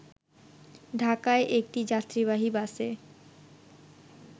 ঢাকায় একটি যাত্রীবাহী বাসে